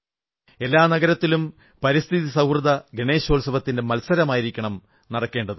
എല്ലാ നഗരങ്ങളിലും പരിസ്ഥിതി സൌഹൃദ ഗണേശോത്സവത്തിന്റെ മത്സരമായിരിക്കണം നടക്കേണ്ടത്